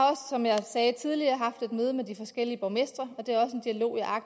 som jeg sagde tidligere haft et møde med de forskellige borgmestre